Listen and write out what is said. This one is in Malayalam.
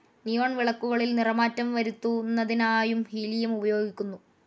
നിയോൺ വിളക്കുകളിൽ നിറമാറ്റം വരുത്തുന്നതിനായുംഹീലിയം ഉപയോഗിക്കുന്നു.